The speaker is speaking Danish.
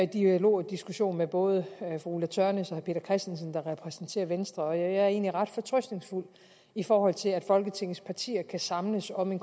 dialog og diskussion med både fru ulla tørnæs og peter christensen der repræsenterer venstre og jeg er egentlig ret fortrøstningsfuld i forhold til at folketingets partier kan samles om en